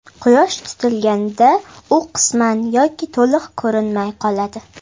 Quyosh tutilganida u qisman yoki to‘liq ko‘rinmay qoladi.